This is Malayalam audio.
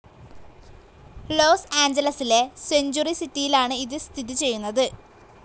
ലോസ്‌ ആഞ്ചലസിലെ സെഞ്ചുറി സിറ്റിയിലാണ് ഇത് സ്ഥിതി ചെയ്യുന്നത്.